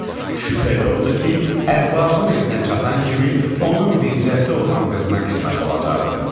Şübhə yoxdur ki, ərbabın evinə çatan kimi onun bircəsi olan qızına qismət olacaqdı.